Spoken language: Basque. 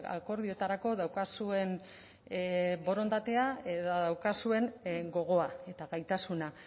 akordioetarako daukazuen borondatea edo daukazuen gogoa eta gaitasuna